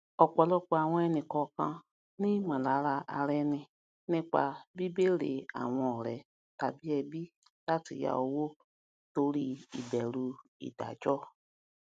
ọpọlọpọ àwọn ẹnìkọọkan ní ìmọlàra ara ẹni nípa bíbéèrè àwọn ọrẹ tàbí ẹbí láti yá owó torí ìbẹrù ìdájọ